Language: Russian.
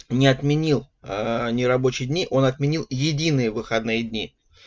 не отменил нерабочие дни он отменил единые выходные дни